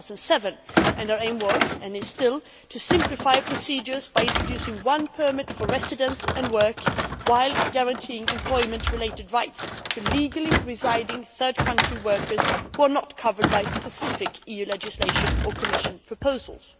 2007. Our aim was, and is still, to simplify procedures by introducing one permit for residence and work, while guaranteeing employment related rights to legally residing third country workers who are not covered by specific EU legislation or Commission proposals.